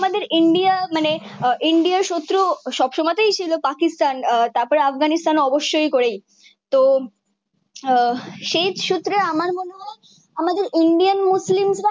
আমাদের ইন্ডিয়া মানে ইন্ডিয়ার শত্রু সব সময়ে তে ছিল পাকিস্তান তার পর আফগানিস্তান অবশই করে তো আহ সে সূত্রে আমার মনে হয়ে আমাদের ইন্ডিয়ান মুসলিম রা